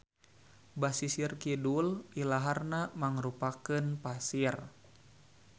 Basisir kidul ilaharna mangrupakeun pasir.